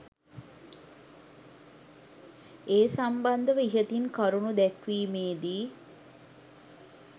ඒ සම්බන්ධව ඉහතින් කරුණු දැක්වීමේ දී